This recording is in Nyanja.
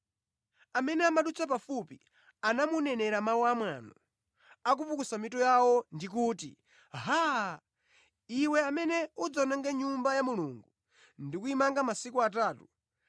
Amene amadutsa pafupi anamunenera mawu amwano, akupukusa mitu yawo ndi kuti, “Haa! Iwe amene udzawononga Nyumba ya Mulungu ndi kuyimanganso masiku atatu,